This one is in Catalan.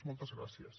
moltes gràcies